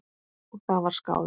Og það var skálað.